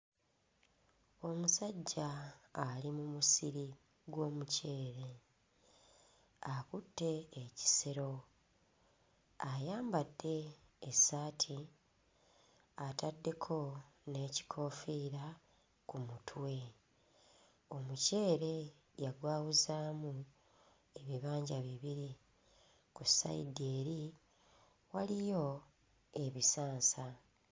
Omusajja ali mu musiri gw'omuceere akutte ekisero ayambadde essaati ataddeko n'ekikoofiira ku mutwe. Omuceere yagwawuzaamu ebibanja bibiri. Ku ssayidi eri waliyo ebisansa.